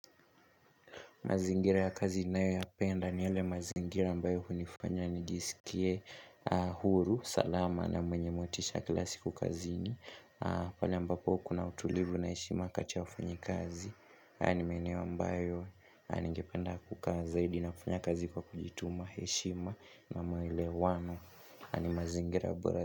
Mazingira ya kazi ninayoyapenda ni yale mazingira ambayo hunifanya nijisikie huru, salama na mwenye motisha kila siku kazini. Pale ambapo kuna utulivu na heshima kati ya wafanyikazi. Hayo ni maeneo ambayo ningependa kukaa zaidi na kufanya kazi kwa kujituma heshima na maelewano. Na ni mazingira bora.